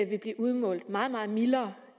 vil blive udmålt meget meget mildere